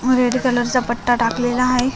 व red colour चा पट्टा टाकलेला आहे.